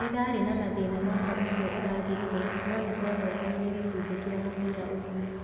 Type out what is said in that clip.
Nĩ ndaarĩ na mathĩna mwaka ũcio ũrathirire no nĩ twahotanire gĩcunjĩ kĩa mũbira ũico.